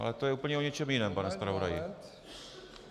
Ale to je úplně o něčem jiném, pane zpravodaji.